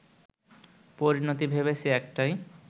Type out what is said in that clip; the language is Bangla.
পরিণতি ভেবেছি একটাই